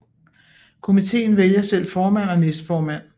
Komiteen vælger selv formand og næstformand